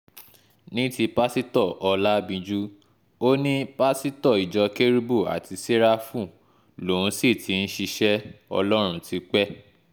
ní ti pásítọ̀ ọlábìnjú ó ní pásítọ̀ ìjọ kérúbù àti séráfù lòun òun sì ti ń ṣiṣẹ́ ọlọ́run tipẹ́